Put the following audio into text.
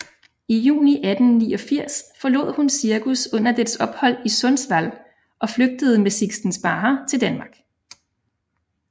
I juni 1889 forlod hun cirkus under dets ophold i Sundsvall og flygtede med Sixten Sparre til Danmark